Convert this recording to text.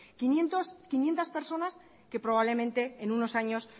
pues quinientos que probablemente en unos años